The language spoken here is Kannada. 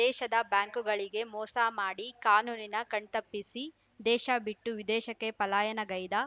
ದೇಶದ ಬ್ಯಾಂಕ್‌ಗಳಿಗೆ ಮೋಸ ಮಾಡಿ ಕಾನೂನಿನ ಕಣ್ತಪ್ಪಿಸಿ ದೇಶ ಬಿಟ್ಟು ವಿದೇಶಕ್ಕೆ ಪಲಾಯನಗೈದ